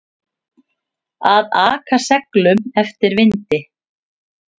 Að aka seglum eftir vindi